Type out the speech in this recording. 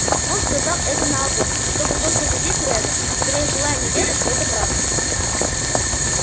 он сказал это наобум чтобы только задеть реддла скорее желая не веря что это правда